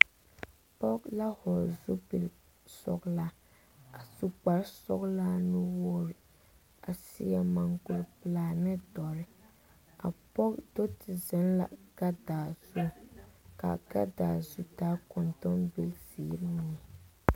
Pɔgɔ la vogle sapil sɔglaa a su kpar sɔglaa nu wogre a seɛ mankur pulaa ne doɔre. A pɔgɔ do te zeŋ la gadaa zu. Ka a gadaa zu taa kontombil ziire mene.